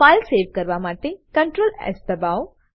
file save કરવા માટે ctrl S દબાઓ